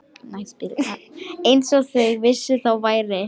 Eins og þau vissu, þá væri